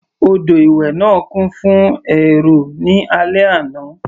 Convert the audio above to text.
Odò ìwẹ̀ náà kún fún èrò ní alẹ́ yìí.